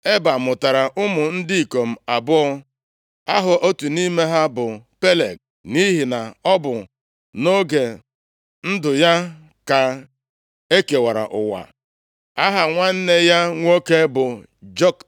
Eba mụtara ụmụ ndị ikom abụọ: Aha otu nʼime ha bụ Peleg, + 1:19 Peleg pụtara Nkewa, nʼihi na mgbe a mụrụ Peleg bụ mgbe e mere ka asụsụ ụwa niile kewasịa. nʼihi na ọ bụ nʼoge ndụ ya ka e kewara ụwa; aha nwanne ya nwoke bụ Joktan.